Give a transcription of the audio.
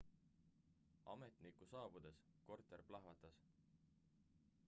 ametniku saabudes korter plahvatas